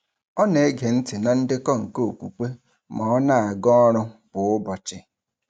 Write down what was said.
Ọ na-ege ntị na ndekọ nke okwukwe ma ọ na-aga ọrụ kwa ụbọchị.